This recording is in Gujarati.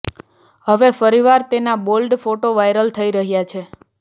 હવે ફરીવાર તેના બોલ્ડ ફોટો વાયરલ થઈ રહ્યા છે